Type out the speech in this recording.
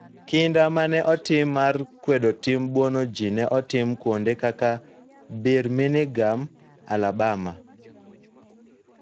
Kinda ma ne otim mar kwedo tim buono ji ne otem kuonde kaka Birmingham, Alabama,